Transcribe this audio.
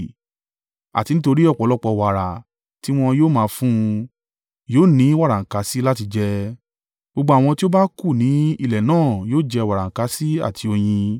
Àti nítorí ọ̀pọ̀lọpọ̀ wàrà tí wọn yóò máa fún un, yóò ní wàràǹkàṣì láti jẹ. Gbogbo àwọn tí ó bá kù ní ilẹ̀ náà yóò jẹ wàràǹkàṣì àti oyin.